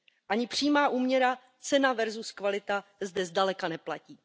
Ani přímá úměra cena versus kvalita zde zdaleka neplatí.